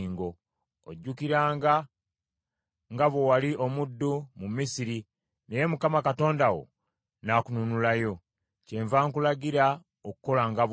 Ojjukiranga nga bwe wali omuddu mu Misiri, naye Mukama Katonda wo n’akununulayo. Kyenva nkulagira okukolanga bw’otyo.